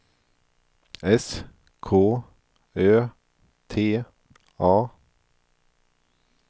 S K Ö T A